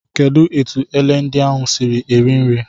Kedụ etu ele ndị ahụ siiri eri nri.